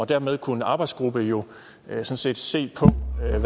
dermed kunne en arbejdsgruppe jo sådan set se